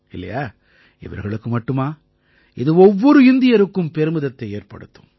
இவர்களுக்கு மட்டுமா இது ஒவ்வொரு இந்தியருக்கும் பெருமிதத்தை ஏற்படுத்தும்